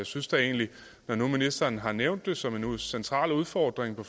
synes da egentlig at når nu ministeren har nævnt det som en central udfordring